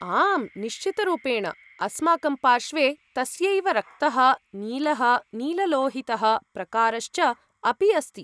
आम्, निश्चितरूपेण, अस्माकं पार्श्वे तस्यैव रक्तः, नीलः, नीललोहितः प्रकारश्च अपि अस्ति।